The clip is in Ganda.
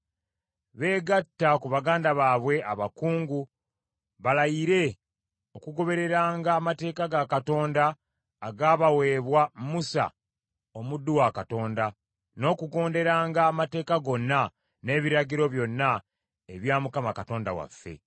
beegatte ku baganda baabwe abakungu balayire okugobereranga Amateeka ga Katonda agaabaweebwa Musa omuddu wa Katonda, n’okugonderanga, amateeka gonna, n’ebiragiro, byonna ebya Mukama Katonda waffe.